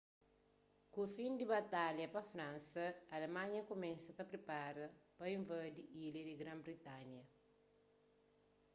ku fin di batalha pa fransa alemanha kumesa ta pripara pa invadi ilha di gran-britanha